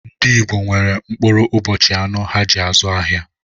Ndị Igbò nwere mkpụrụ ụbọchị anọ há ji azụ ahịa.